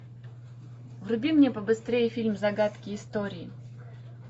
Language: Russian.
вруби мне побыстрее фильм загадки истории